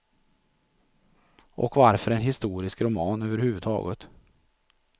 Och varför en historisk roman överhuvudtaget?